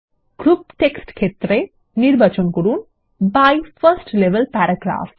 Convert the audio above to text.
group text ক্ষেত্রে নির্বাচন করুন বাই 1স্ট লেভেল প্যারাগ্রাফ